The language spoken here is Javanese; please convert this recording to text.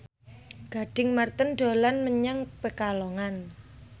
Gading Marten dolan menyang Pekalongan